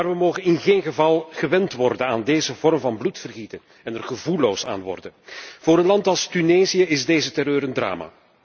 Maar we mogen in geen geval gewend raken aan deze vorm van bloedvergieten en er gevoelloos voor worden. Voor een land als Tunesië is deze terreur een drama.